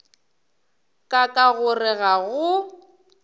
ka ka gore ga go